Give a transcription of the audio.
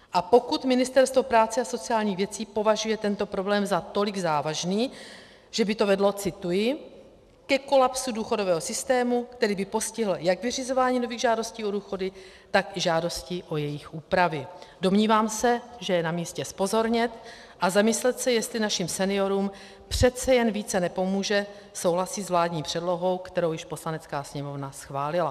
A pokud Ministerstvo práce a sociálních věcí považuje tento problém za tolik závažný, že by to vedlo - cituji - ke kolapsu důchodového systému, který by postihl jak vyřizování nových žádostí o důchody, tak i žádostí o jejich úpravy, domnívám se, že je na místě zpozornět a zamyslet se, jestli našim seniorům přece jen více nepomůže souhlasit s vládní předlohou, kterou už Poslanecká sněmovna schválila.